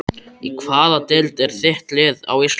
Í hvaða deild er þitt lið á Íslandi?